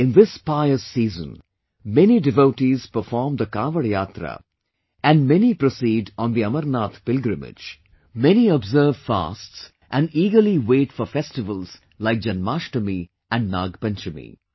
In this pious season many devotees perform the Kanwad Yatra and many proceed on the Amarnath pilgrimage, many observe fasts and eagerly wait for festivals like Janamasthmi and Nag Panchmi